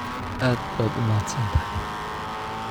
Aad baad u mahadsantahay